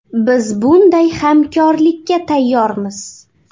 Biz bunday hamkorlikka tayyormiz.